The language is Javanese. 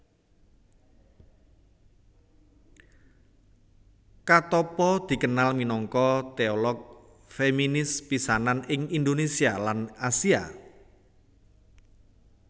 Katoppo dikenal minangka teolog feminis pisanan ing Indonesia lan Asia